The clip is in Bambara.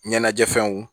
Ɲɛnajɛ fɛnw